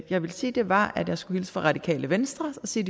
jeg ville sige var at jeg skulle hilse fra radikale venstre sige